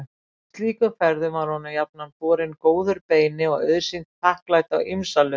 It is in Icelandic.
Á slíkum ferðum var honum jafnan borinn góður beini og auðsýnt þakklæti á ýmsa lund.